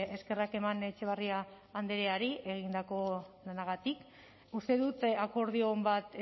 eskerrak eman etxebarria andreari egindako lanagatik uste dut akordio on bat